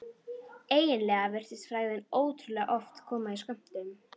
Eiginlega virtist frægðin ótrúlega oft koma í skömmtum.